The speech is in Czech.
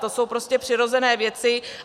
To jsou prostě přirozené věci.